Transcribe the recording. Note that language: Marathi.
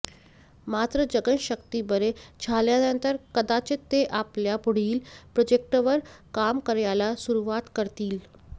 मात्र जगन शक्ती बरे झाल्यानंतर कदाचित ते आपल्या पुढील प्रोजेक्टवर काम करायला सुरुवात करतील